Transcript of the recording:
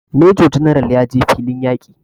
Major general ya je filin yaƙi